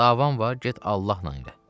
Davam var, get Allahla elə.